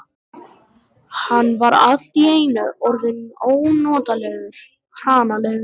Hann var allt í einu orðinn ónotalega hranalegur.